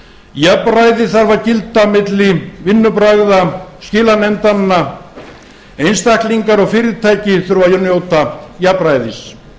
jafnræði þarf að gilda milli vinnubragða skilanefndanna einstaklingar og fyrirtæki þurfa að njóta jafnræðis